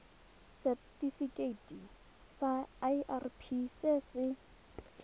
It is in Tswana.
setifikeiting sa irp se se